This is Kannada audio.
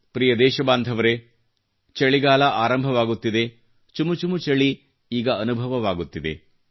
ಪ್ರಿಯ ದೇಶ ಬಾಂಧವರೇ ಚಳಿಗಾಲ ಆರಂಭವಾಗುತ್ತಿದೆ ಚುಮು ಚುಮು ಚಳಿ ಈಗ ಅನುಭವವಾಗುತ್ತಿದೆ